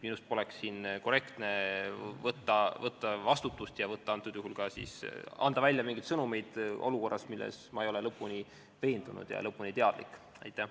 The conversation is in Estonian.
Minust poleks korrektne võtta siin vastutust ja anda välja mingeid sõnumeid olukorra kohta, milles ma ei ole lõpuni veendunud ega ole sellest olukorrast lõpuni teadlik.